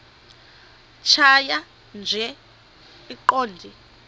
tjhaya nje iqondee